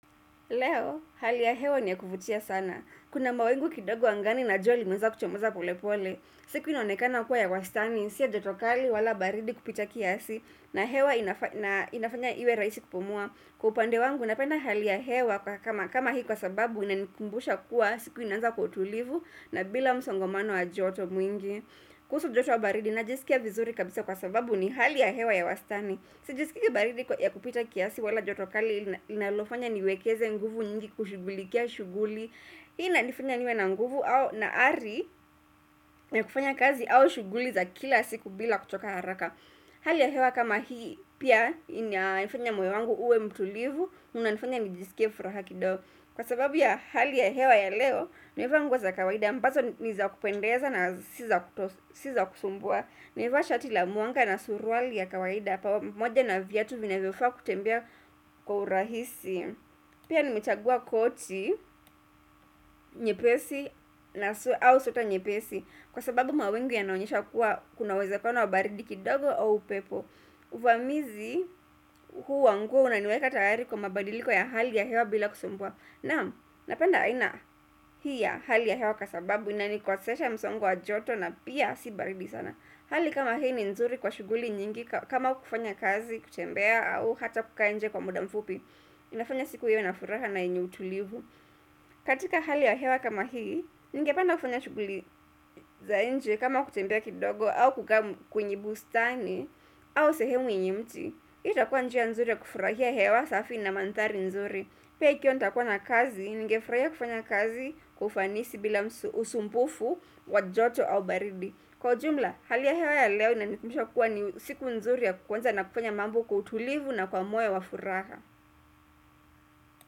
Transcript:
Leo, hali ya hewa ni ya kuvutia sana. Kuna mawingu kidogo angani na jua limeanza kuchomoza pole pole. Siku inaonekana kuwa ya wastani, sio joto kali wala baridi kupita kiasi na hewa inafanya na inafanya iwe raisi kupumua. Kwa upande wangu napenda hali ya hewa kama kama hii kwa sababu inanikumbusha kuwa siku inaanza kwa utulivu na bila msongomano wa joto mwingi. Kuhusu joto au baridi najisikia vizuri kabisa kwa sababu ni hali ya hewa ya wastani Sijasikia baridi ya kupita kiasi wala joto kali linalofanya niwekeze nguvu nyingi kushughulikia shughuli Hii inanifanya niwe na nguvu au naari ya kufanya kazi au shughuli za kila siku bila kuchoka haraka Hali ya hewa kama hii pia inafanya moyo wangu uwe mtulivu inanifanya nijisikie furaha kidogo Kwa sababu ya hali ya hewa ya leo, nimevaa za kawaida ambazo ni za kupendeza na Si za kutoswa Si za kusumbua Nimevaa shati la mwanga na suruali ya kawaida pamoja na viatu vinavyofaa kutembea kwa urahisi Pia nimechagua koti, nyepesi au sweta nyepesi Kwa sababu mawingu yanaonyesha kuwa kuna uwezekano wa baridi kidogo au upepo Uvamizi huu wa nguo unaniweka tayari kwa mabadiliko ya hali ya hewa bila kusumbua Naam napenda aina hii ya hali ya hewa kwa sababu inanikosesha msongo wa joto na pia si baridi sana Hali kama hii ni nzuri kwa shughuli nyingi kama kufanya kazi, kutembea au hata kukaa nje kwa muda mfupi inafanya siku iwe na furaha na yenye utulivu. Katika hali ya hewa kama hii, ningependa kufanya shughuli za nje kama kutembea kidogo au kukaa kwenye bustani au sehemu yenye mti. Hii itakuwa njia nzuri ya kufurahia hewa safi na mandhari nzuri. Pia ikiwa nitakuwa na kazi, ningefurahia kufanya kazi kwa ufanisi bila usumbufu, wa joto au baridi. Kwa jumla, hali ya hewa ya leo na inanikumbusha kuwa ni siku nzuri ya kuanza na kufanya mambo kwa utulivu na kwa moyo wa furaha.